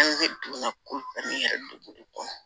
An donna ko ta ni yɛrɛ dugu de kɔnɔ